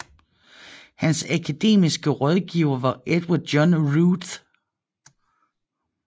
Hans akademiske rådgiver var Edward John Routh